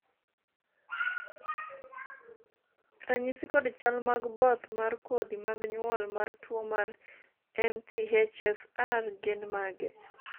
ranyisi kod chal mag both mar kodhi mag nyuol mar tuo mar MTHFR gin mage?